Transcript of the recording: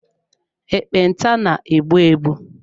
Ekpenta na-egbu egbu.